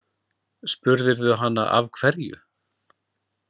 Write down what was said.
Spurðirðu hana af hverju?